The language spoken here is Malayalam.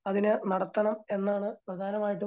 അതിനെ നടത്തണം എന്നാണ്